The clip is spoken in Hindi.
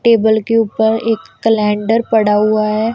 टेबल के ऊपर एक कैलेंडर पड़ा हुआ है।